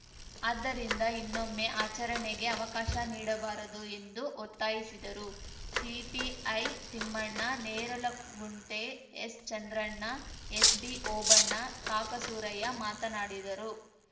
ಆದ್ದರಿಂದ ಇನ್ನೊಮ್ಮೆ ಆಚರಣೆಗೆ ಅವಕಾಶ ನೀಡಬಾರದು ಎಂದು ಒತ್ತಾಯಿಸಿದರು ಸಿಪಿಐ ತಿಮ್ಮಣ್ಣ ನೇರಲಗುಂಟೆ ಎಸ್‌ಚಂದ್ರಣ್ಣ ಎಸ್‌ಬಿಓಬಣ್ಣ ಕಾಕಸೂರಯ್ಯ ಮಾತನಾಡಿದರು